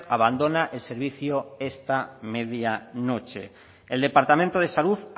abandona el servicio esta media noche el departamento de salud